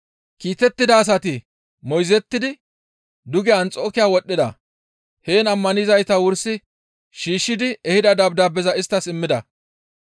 Kiitettida asati moyzettidi duge Anxokiya wodhdhida; heen ammanizayta wursi shiishshidi ehida dabdaabeza isttas immida.